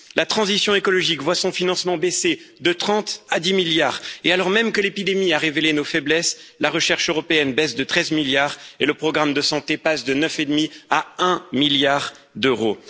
la transition écologique voit son financement baisser de 30 à 10 milliards, et alors même que l'épidémie a révélé nos faiblesses, la recherche européenne baisse de 13 milliards et le programme de santé passe de 9,5 à un milliard d'euros.